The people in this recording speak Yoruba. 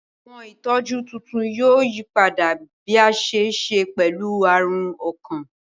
Awọn itọju tuntun yoo yipada bi a ṣe ṣe pẹlu arun ọkan.